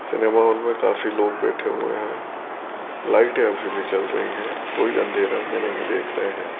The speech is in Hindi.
सिनेमा हॉल में काफी लोग बैठे हुए हैं लाइटे है अभी भी जल रही है कोई अंधेरा में नहीं देख रहे है।